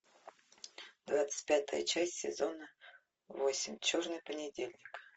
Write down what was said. двадцать пятая часть сезона восемь черный понедельник